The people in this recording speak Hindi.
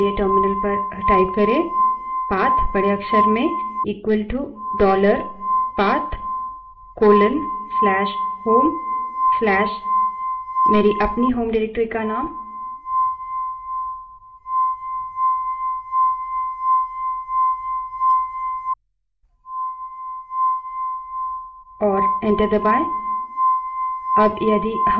पाथ बड़े अक्षर में equalto dollar पाथ फिर से बड़े अक्षर में colon/home/<the _ name _ of _ my _ own _ home _ directory> और enter दबायें